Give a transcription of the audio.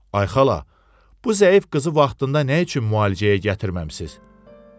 Ay xala, bu zəif qızı vaxtında nə üçün müalicəyə gətirməmisiz?